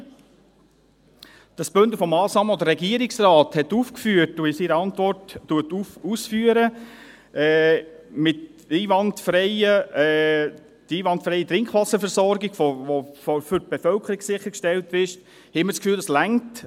Durch dieses Bündel von Massnahmen, das der Regierungsrat aufgeführt hat und in seiner Antwort ausführt – die einwandfreie Trinkwasserversorgung, die für die Bevölkerung sichergestellt ist –, haben wir das Gefühl: Das reicht.